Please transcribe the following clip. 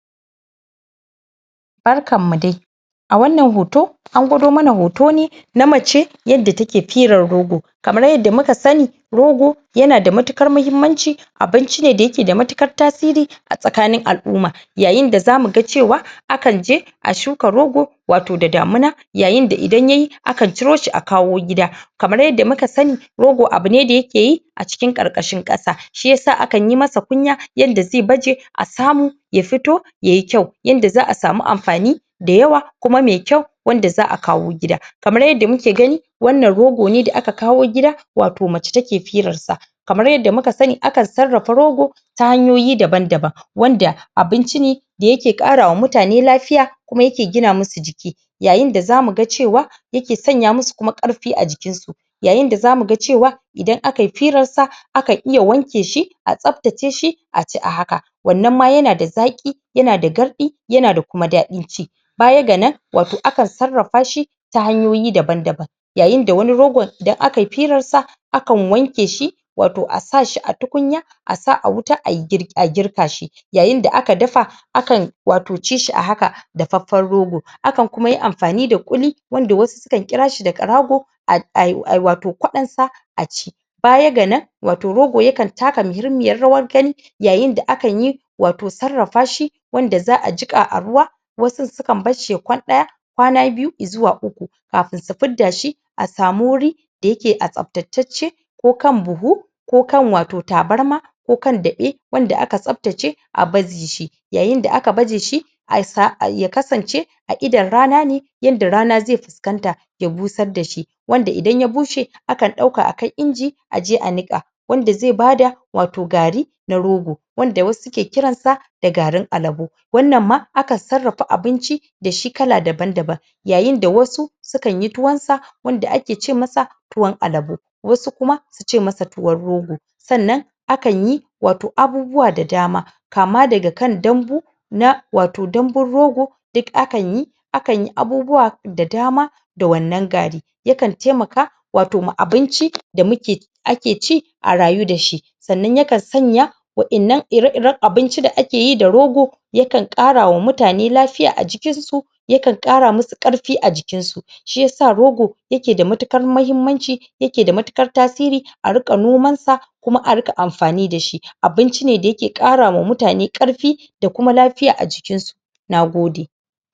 Barkan mu dai! A wanan hoto, an gwado mana hoto ne na mace, yadda take firar rogo. Kamar yadda muka sani rogo ya na da matuƙar mahimmanci, abinci ne da ya ke da matuƙar tasiri a tsakanin al'umma. Yayin da za mu ga cewa akan je a shuka rogo wato da damuna. Yayin da idan yayi akan ciro shi a kawo gida. Kamar yadda muka sani rogo abu ne da ya ke yi a cikin ƙarƙashin ƙasa, shi yasa akan yi masa kunya yadda zai baje a samu ya fito yayi kyau yanda za'a samu amfani da yawa, kuma mai kyau wanda za'a kawo gida. Kamar yadda muke gani wannan rogo ne da aka kawo gida wato mace take firar sa. Kamar yadda muka sani akan sarrafa rogo ta hanyoyi daban-dabn wanda abinci ne da ya ke ƙarawa mutane lafiya kuma ya ke gina musu jiki. Yayin da za mu ga cewa ya ke sanya musu kuma ƙarfi a jikin su Yayin da za mu ga cewa idan aka yi firarsa, akan iya wanke shi, a tsaftace shi aci a haka, wannan ma ya na da zaƙi, ya na da garɗi ya na da ƙarfin ci. Baya ga nan wato akan sarrafa shi ta hanyoyi daban-daban. Yayin da wani rogon idan aka yi firarsa akan wanke shi wato a sa shi a tukunya a sa a wuta a girka shi. Yayin da aka dafa akan wato ci shi a haka dafaffen rogo, akan kuma yi amfani da ƙulli wanda wasu suka kira shi da ƙarago a ai ai wato kwaɗonsa a ci. Baya ga nan wato rogo yakan taka muhimmiyar rawar gani yayin da akan yi wato sarrafa shi wanda za'a jika a ruwa wasu sukan bar shi ya kwan ɗaya, kwana biyu, izuwa uku. kafin su fidda shi, a samu wuri da ya ke a tsaftatacce ko kan buhu, ko kan wato tabarma ko kan daɓe wanda aka tsaftace a baje shi. Yayin da aka baje shi a sa ya kasance a idon rana ne, yanda rana zai fuskanta ya busar da shi. Wanda idan ya bushe akan ɗauka akai inji aji a niƙa, wanda zai bada wato gari na rogo, wanda wasu ke kiransa da garin alabo. Wanna ma akan sarrafa da shi kala daban-daban Yayin da wasu sukan yi tuwon sa wanda ake ce masa tuwan alabo, wasu kuma suce masa tuwon rogo. Sannan akan yi wato abubuwa da dama kama daga kan dambu, na wato dambun rogo duk akan yi. Akan yi abubuwa da dama da wannan gari, yakan taimaka wato ma abinci da muke ake ci a rayu da shi. Sannan yakan sanya waƴannan ire-iren abinci da ake yi da rogo yakan ƙarawa mutane lafiya a jikin su, yakan ƙara musu ƙarfi a jikin su. Shi yasa rogo ya ke da matuƙar mahimmanci, ya ke da matuƙar tasiri a riƙa nomansa kuma a riƙa amfani da shi, abinci ne da ya ke ƙarama mutane ƙarfi da kuma lafiya a cikin su. Nagode!